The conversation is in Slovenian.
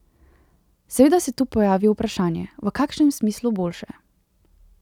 Seveda se tu pojavi vprašanje, v kakšnem smislu boljše.